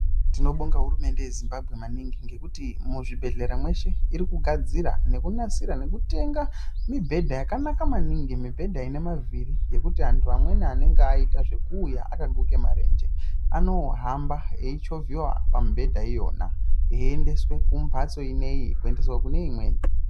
Tinobonga hurumende yeZimbabwe maningi ngekuti muzvibhehlera mweshe irikugadzira nekunasira nekutenga mibhedha yakanaka maningi mibhedha ine mavhiri zvekuti amweni anhu amweni anenge aite zvekuuya akaguke marenje anohamba eichovhiwa pamibhedha iyona eindeswe kumhatso inoiyi neimweni.